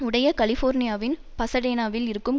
உடைய கலிபோர்னியாவின் பசடேனாவில் இருக்கும்